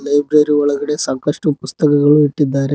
Library ಒಳಗಡೆ ಸಾಕಷ್ಟು ಪುಸ್ತಕಗಳು ಇಟ್ಟಿದ್ದಾರೆ.